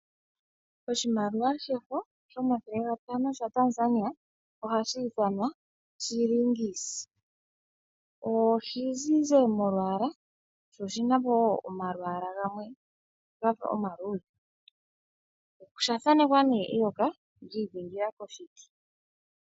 Oshimaliwa shefo shomathele gatano shaTanzani ohashi ithanwa Shilings. Oshi zizi molwaala sho oshina po woo omalwaala gamwe gafa omaludhe osha thanekwa ne eyoka lyiidhingila koshiti.